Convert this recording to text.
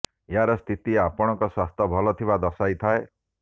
ଏହାର ସ୍ଥିତି ଆପଣଙ୍କ ସ୍ୱାସ୍ଥ୍ୟ ଭଲ ଥିବା ଦର୍ଶାଇ ଥାଏ